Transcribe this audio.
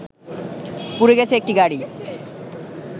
পুড়ে গেছে একটি গাড়ি